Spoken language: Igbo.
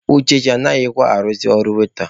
Uchechi anaghịkwa arụzị ọrụ waita.